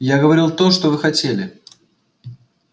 я говорил то что вы хотели